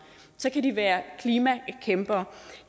kan de være klimakæmpere